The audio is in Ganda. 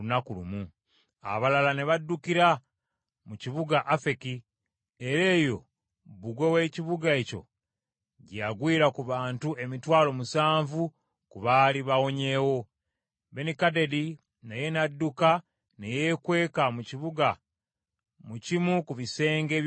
Abalala ne baddukira mu kibuga Afeki, era eyo bbugwe w’ekibuga ekyo gye yagwira ku bantu emitwalo musanvu ku baali bawonyeewo. Akabu Asaasira Benikadadi Benikadadi naye nadduka ne yeekweka mu kibuga mu kimu ku bisenge eby’omunda.